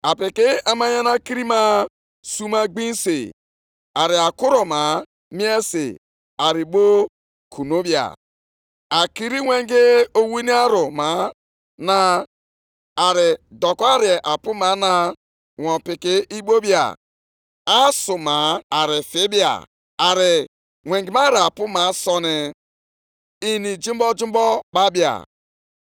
Aga m akwatu ocheeze alaeze dị iche iche, ana m agakwa imebi ike alaeze nke mba dị iche iche. Aga m akwatu ụgbọ ịnyịnya nʼala na ndị na-anya ha; ịnyịnya na ndị na-agba ha ga-adakwa. Onye ọbụla ga-adakwa site na mma agha nke onye otu ya.